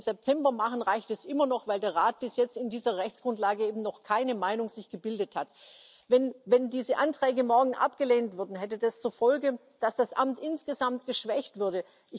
Und wenn wir das im September machen, reicht es immer noch, weil der Rat sich bis jetzt zu dieser Rechtsgrundlage eben noch keine Meinung gebildet hat. Wenn diese Anträge morgen abgelehnt würden, hätte das zur Folge, dass das Amt insgesamt geschwächt würde.